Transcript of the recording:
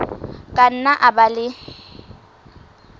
ka nna a ba le